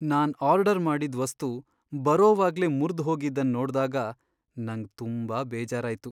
ನಾನ್ order ಮಾಡಿದ್ ವಸ್ತು ಬರೋವಾಗ್ಲೇ ಮುರ್ದ್ ಹೋಗಿದನ್ ನೋಡ್ದಾಗ ನಂಗ್ ತುಂಬಾ ಬೇಜಾರಾಯ್ತು.